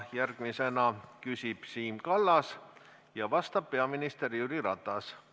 Järgmisena küsib Siim Kallas ja vastab peaminister Jüri Ratas.